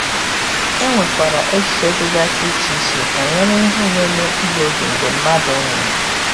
E nwekwara echiche dịgasị icheiche banyere ihe na-eme mkpụrụ obi mgbe mmadụ um nwụrụ.